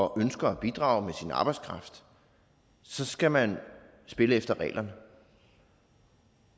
og ønsker at bidrage med sin arbejdskraft så skal man spille efter reglerne